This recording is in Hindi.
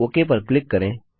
ओक पर क्लिक करें